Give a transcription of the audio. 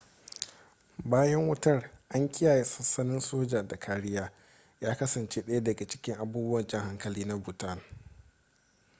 bayan wutar an kiyaye sansanin soja da kariya ya kasance ɗaya da cikin abubuwan jan hankali na bhutan